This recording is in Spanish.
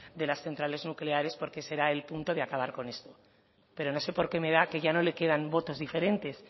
de las centrales nucleares porque será el punto de acabar con esto pero no sé por qué me da que ya no le quedan votos diferentes